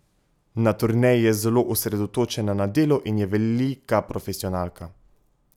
Na turneji je zelo osredotočena na delo in je velika profesionalka.